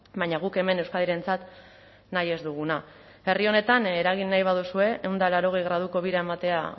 baina guk hemen euskadirentzat nahi ez duguna herri honetan eragin nahi baduzue ehun eta laurogei graduko bira ematea